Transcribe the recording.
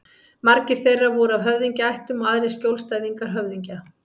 Margir þeirra voru af höfðingjaættum og aðrir skjólstæðingar höfðingja.